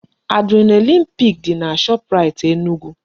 Adrenaline peak dị na Shoprite Enugu